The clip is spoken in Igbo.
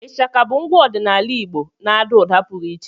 Ishaka bụ ngwa ọdịnala Igbo na-àdá ụda pụrụ iche